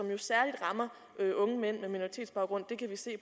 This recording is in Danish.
jo særlig rammer unge mænd med minoritetsbaggrund det kan vi se